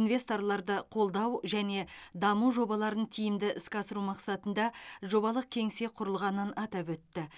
инвесторларды қолдау және даму жобаларын тиімді іске асыру мақсатында жобалық кеңсе құрылғанын атап өтті